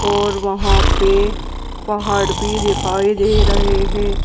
और वहाँ पे पहाड़ भी दिखाई दे रहे हैं।